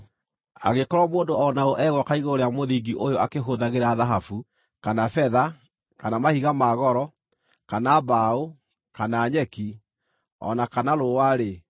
Angĩkorwo mũndũ o na ũ egwaka igũrũ rĩa mũthingi ũyũ akĩhũthagĩra thahabu, kana betha, kana mahiga ma goro, kana mbaũ, kana nyeki, o na kana rũũa-rĩ,